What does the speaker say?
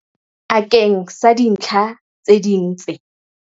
Akeng sa dintlha tse ding tse.